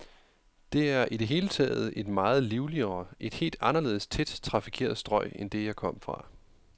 Det er i det hele taget et meget livligere, et helt anderledes tæt trafikeret strøg end det, jeg kom fra.